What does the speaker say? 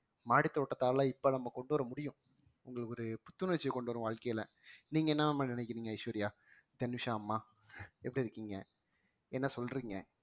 மாடித்தோட்டத்தால இப்ப நம்ம கொண்டு வர முடியும் உங்களுக்கு ஒரு புத்துணர்ச்சி கொண்டு வரும் வாழ்க்கையில நீங்க என்ன மாதிரி நினைக்கிறீங்க ஐஸ்வர்யா தனிஷா அம்மா எப்படி இருக்கீங்க என்ன சொல்றீங்க